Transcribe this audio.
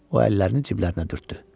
O əllərini ciblərinə dürtdü.